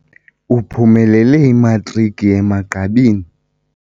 Uphumelele imatriki emagqabini.